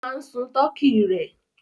O máa ń sun tọkí rẹ̀.